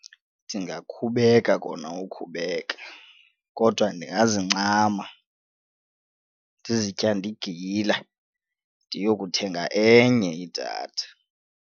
Ndingakhubeka kona ukhubeka kodwa ndingazincama ndizityande igila ndiyokuthenga enye idatha.